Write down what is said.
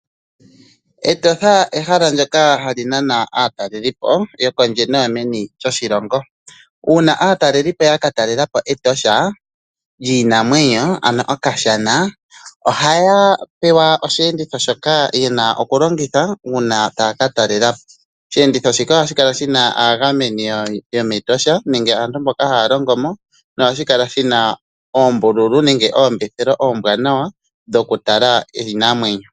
Etosha ehala ndyoka ha li nana aatalelipo yokondje noyomeni lyoshilongo. Uuna aatalelipo ya ka talela po Etosha lyiinamwenyo, ano Okashana, oha ya pewa osheenditho shoka ye na okulongitha uuna ta ya ka talelapo. Osheenditho shika oha shi kala shi na aagameni yomEtosha, mboka ha ya longo mo na ohashi kala shi na oombululu oombwanawa dhokutala iinamwenyo.